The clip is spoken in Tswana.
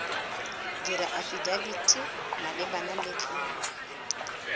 dira afidafiti malebana le tlolo